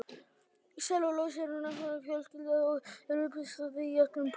Sellulósi er náttúrleg fjölsykra og er uppistaðan í öllum plöntum.